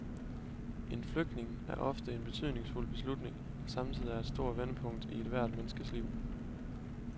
En flytning er ofte en betydningsfuld beslutning, der samtidig er et stort vendepunkt i ethvert menneskes liv.